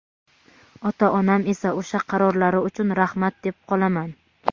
ota-onam esa o‘sha qarorlari uchun rahmat deb qolaman!.